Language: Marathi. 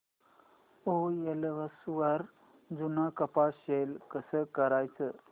ओएलएक्स वर जुनं कपाट सेल कसं करायचं